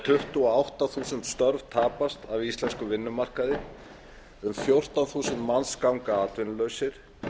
tuttugu og átta þúsund störf tapast á íslenskum vinnumarkaði um fjórtán þúsund manns ganga atvinnulausir